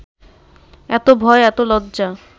এত ভয়, এত লজ্জা